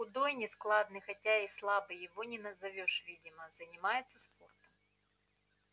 худой нескладный хотя и слабый его не назовёшь видимо занимается спортом